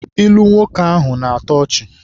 Ilu nwoke ahụ na-atọ ọchị.